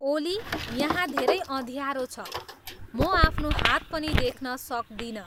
ओली यहाँ धेरै अँध्यारो छ म आफ्नो हात पनि देख्न सक्दिन